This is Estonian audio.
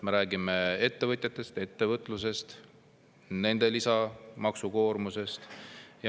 Me räägime ettevõtjatest, ettevõtlusest, nende lisamaksukoormusest.